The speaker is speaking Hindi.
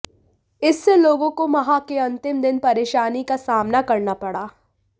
इससे लोगों को माह के अंतिम दिन परेशानी का सामना करना पड़ा